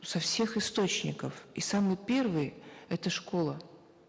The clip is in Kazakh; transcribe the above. со всех источников и самый первый это школа